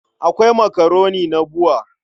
Akwai makaroni na BUA.